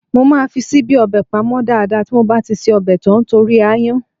Mo máa fi ṣíbí ọbẹ̀ pamọ́ dáadáa tí mo bá ti ṣe ọbẹ̀ tán torí aáyán.